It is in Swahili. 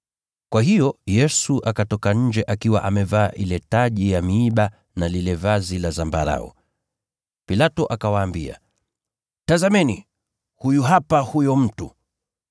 Kwa hiyo Yesu akatoka nje akiwa amevaa ile taji ya miiba na lile vazi la zambarau. Pilato akawaambia, “Tazameni, huyu hapa huyo mtu!”